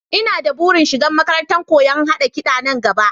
Ina da burin shiga makarantar koyon haɗa kiɗa nan gaba